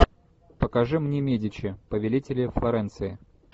покажи мне медичи повелители флоренции